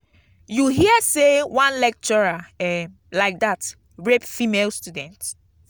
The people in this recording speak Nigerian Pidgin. you hear say one lecturer um like dat rape female student?